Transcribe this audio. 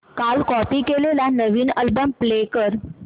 काल कॉपी केलेला नवीन अल्बम प्ले कर